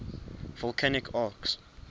volcanic arcs